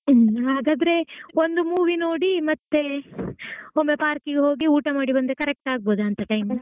ಹ್ಮ್ ಹಾಗಾದ್ರೆ ಒಂದು movie ನೋಡಿ ಮತ್ತೆ ಒಮ್ಮೆ park ಗೆ ಹೋಗಿ ಊಟ ಮಾಡಿ ಬಂದ್ರೆ correct ಆಗಬೋದಾ ಅಂತಾ time.